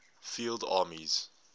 field armies